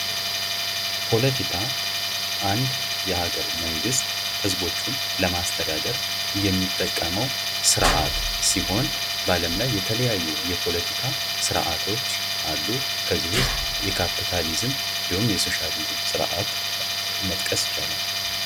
ፖለቲካ አንድ የሀገር መንግስት ህዝቦቹን ለማስተዳደር የሚጠቀመዉ ስርዓት ሲሆን በአለም ላይ የተለያዩ የፖለቲካ ስርዓቶች አሉ። ከእነዚህ ዉስጥ የካፒታሊዝም የሶሻሊዝም ስርዓት መጥቀስ ይቻላል።